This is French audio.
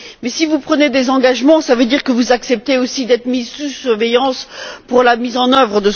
Mais si vous prenez des engagements, cela veut dire que vous acceptez aussi d'être mis sous surveillance pour leur mise en œuvre.